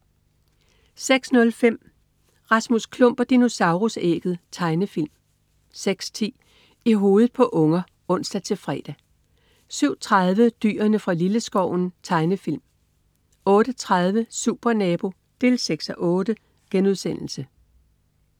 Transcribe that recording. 06.05 Rasmus Klump og dinosaurus-ægget. Tegnefilm 06.10 I hovedet på unger (ons-fre) 07.30 Dyrene fra Lilleskoven. Tegnefilm 08.30 Supernabo 6:8*